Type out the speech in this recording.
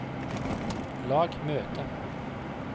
lag møte